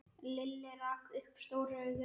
Lilli rak upp stór augu.